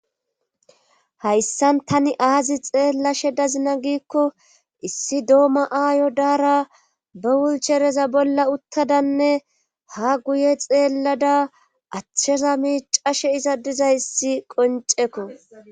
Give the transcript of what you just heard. Hayssan tani aazi xeella she dazina giikko issi doomma aayo daara ba wulchereza bolla uttadanne ha guye xeellada achcheza mi cashe iza diza issi qoncekko.